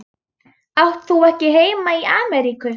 Átt þú ekki heima í Ameríku?